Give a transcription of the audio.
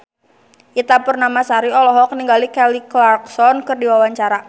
Ita Purnamasari olohok ningali Kelly Clarkson keur diwawancara